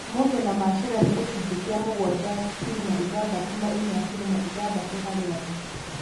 ũhũthĩri na macera nĩ gĩcunjĩ kĩa mũgwanja turuma ithathatũ na inya turuma ithathatũ hari andu